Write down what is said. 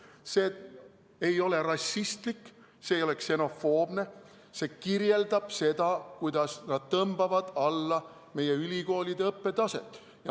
See ei ole rassistlik, see ei ole ksenofoobne, see kirjeldab seda, kuidas nad tõmbavad alla meie ülikoolide õppetaset.